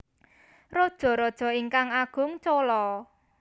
Rajaraja ingkang Agung Chola